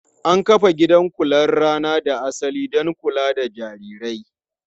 An kafa gidan kular rana da asali don kula da jarirai.